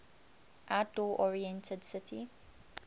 outdoor oriented city